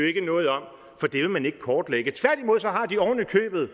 ikke noget om for det vil man ikke kortlægge tværtimod har de ovenikøbet